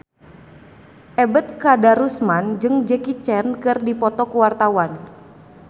Ebet Kadarusman jeung Jackie Chan keur dipoto ku wartawan